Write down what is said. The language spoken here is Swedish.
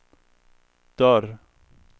dörr